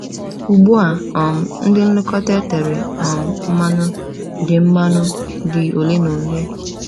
Ugbu a, um ndị nlekọta etere um mmanụ dị mmanụ dị ole na ole.